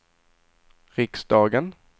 riksdagen